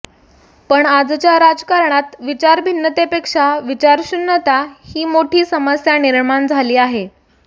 पण आजच्या राजकारणात विचारभिन्नतेपेक्षा विचारशून्यता ही मोठी समस्या निर्माण झाली आहे